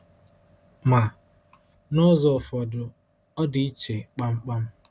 Ma, n’ụzọ ụfọdụ, ọ dị iche kpamkpam.